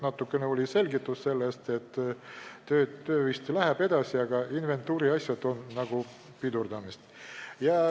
Natukene selgitati, et töö läheb vist edasi, aga inventuuriasjad on asja pidurdanud.